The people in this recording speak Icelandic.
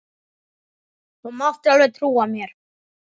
Þú mátt alveg trúa mér!